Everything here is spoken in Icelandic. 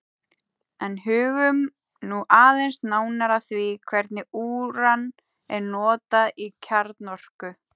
En hugum nú aðeins nánar að því hvernig úran er notað í kjarnorku.